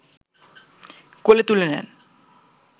কোলে তুলে নেন